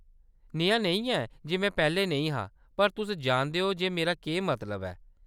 नेहा नेईं ऐ जे में पैह्‌‌‌लें नेईं हा, पर तुस जानदे ओ जे मेरा केह्‌‌ मतलब ऐ।